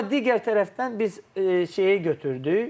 Amma digər tərəfdən biz şeyə götürdük.